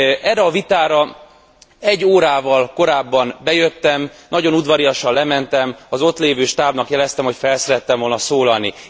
Erre a vitára egy órával korábban bejöttem, nagyon udvariasan lementem, az ott lévő stábnak jeleztem, hogy szerettem volna felszólalni.